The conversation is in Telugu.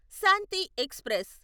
శాంతి ఎక్స్ప్రెస్